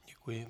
Děkuji.